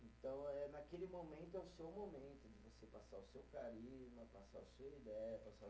Então eh, naquele momento, é o seu momento de você passar o seu carisma, passar a sua ideia, passar